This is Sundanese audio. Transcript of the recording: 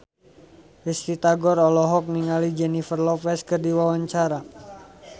Risty Tagor olohok ningali Jennifer Lopez keur diwawancara